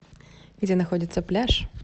где находится пляж